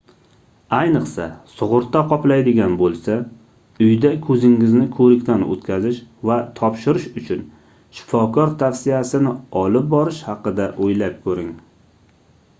ayniqsa sugʻurta qoplaydigan boʻlsa uyda koʻzingizni koʻrikdan oʻtkazish va topshirish uchun shifokor tavsiyasini olib borish haqida oʻylab koʻring